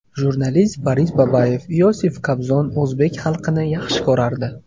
Jurnalist Boris Babayev: Iosif Kobzon o‘zbek xalqini yaxshi ko‘rardi.